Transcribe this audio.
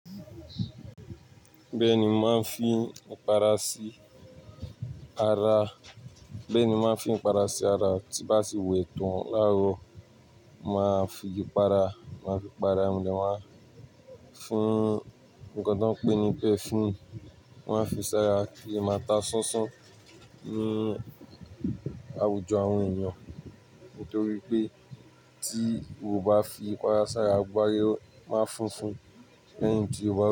Bẹ́ẹ̀ ni mo máa ń fi ipara sí ara. Bẹ́ẹ̀ ni mo máa ń fi ipara sí ara, tí nbá tì wẹ̀ tán láàárọ̀, máa fi ipara, máa fi para, ẹmo de ma fún nnkan tó ń pé ni perfume. Maá fi sára kin le máa ta sánsán ní àwùjọ àwọn ènìyàn. Nítorí pé tí o bá fi ipara sára, gbogbo ara e máa funfun lẹ́yìn tí o bá.